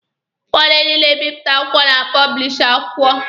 Ụfọdụ ndị na-ebịpụta akwụkwọ na-apọblishi akwụkwọ.